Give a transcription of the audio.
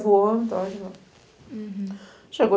levou então embora. Uhum. Chegou